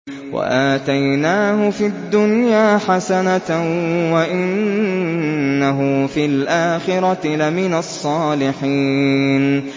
وَآتَيْنَاهُ فِي الدُّنْيَا حَسَنَةً ۖ وَإِنَّهُ فِي الْآخِرَةِ لَمِنَ الصَّالِحِينَ